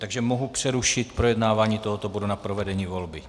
Takže mohu přerušit projednávání tohoto bodu na provedení volby.